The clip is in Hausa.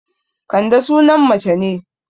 Kande sunan mace ne